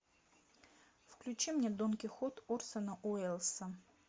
включи мне дон кихот орсона уэллса